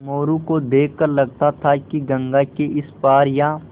मोरू को देख कर लगता था कि गंगा के इस पार या